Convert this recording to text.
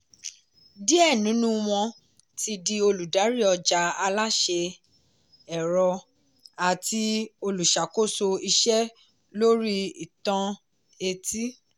díẹ̀ nínú wọn ti di olùdarí ọjà aláṣẹ ẹ̀rọ àti olùṣàkóso iṣẹ́ lórí intanẹẹti.